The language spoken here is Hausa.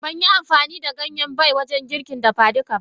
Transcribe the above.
Banyi amfani da Ganyen Bay wajen girkin dafa duka ba.